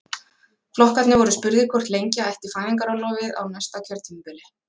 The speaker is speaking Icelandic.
Flokkarnir voru spurðir hvort lengja ætti fæðingarorlofið á næsta kjörtímabili?